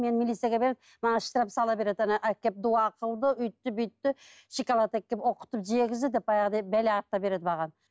мені милицияға беріп маған штраф сала береді ана әкеліп дуа қылды өйтті бүйтті шоколад әкеліп оқытып жегізді